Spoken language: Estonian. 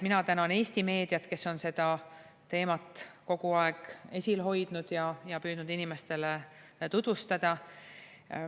Mina tänan Eesti meediat, kes on seda teemat kogu aeg esil hoidnud ja püüdnud inimestele tutvustada.